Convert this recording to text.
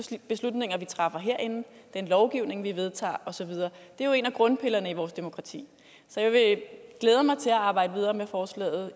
de beslutninger vi træffer herinde den lovgivning vi vedtager og så videre det er jo en af grundpillerne i vores demokrati jeg glæder mig til at arbejde videre med forslaget